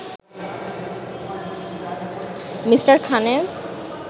Me. খানের